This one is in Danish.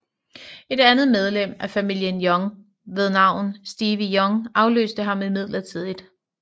Et andet medlem af familien Young ved navn Stevie Young afløste ham midlertidigt